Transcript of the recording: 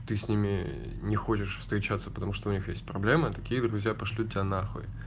ты с ними не хочешь встречаться потому что у них есть проблемы такие друзья пошлют тебя нахуй